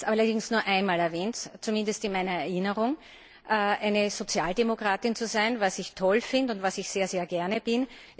Ich habe allerdings nur einmal erwähnt zumindest in meiner Erinnerung eine Sozialdemokratin zu sein, was ich toll finde und was ich sehr gerne bin.